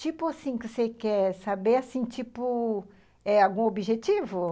Tipo assim, que você quer saber, assim, tipo, é algum objetivo?